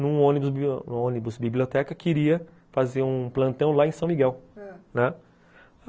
num ônibus biblioteca que iria fazer um plantão lá em São Miguel, ãh, né